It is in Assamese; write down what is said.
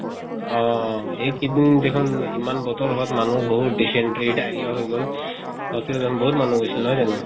অহ এই কিদিন দেখুন ইমান বতৰ হোৱাত মানুহ বহুত dysentery diarrhea হয় গল। hospital ত দেখুন বহুত মানুহ গৈছিল নহয় জানো?